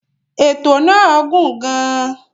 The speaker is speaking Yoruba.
Ètò náà gùn gàn.